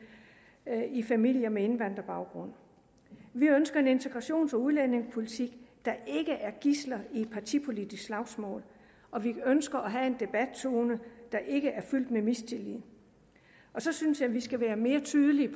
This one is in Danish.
i familier med indvandrerbaggrund vi ønsker en integrations og udlændingepolitik der ikke er gidsel i et partipolitisk slagsmål og vi ønsker at have en debattone der ikke er fyldt med mistillid og så synes jeg vi skal være mere tydelige